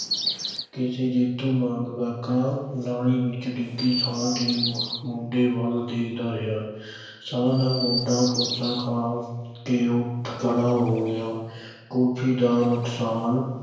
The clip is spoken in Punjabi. ਕਿਸੇ ਜੇਤੂ ਵਾਂਗ ਕਾਕਾ ਨਾਲੀ ਵਿੱਚ ਡਿੱਗੇ ਸ਼ਾਹ ਦੇ ਮੁੰ ਮੁੰਡੇ ਵੱਲ ਦੇਖਦਾ ਰਿਹਾ ਸ਼ਾਹ ਦਾ ਮੁੰਡਾ ਗੁੱਸਾ ਖਾ ਕੇ ਉੱਠ ਖੜਾ ਹੋ ਗਿਆ ਕੁਲਫ਼ੀ ਦਾ ਨੁਕਸਾਨ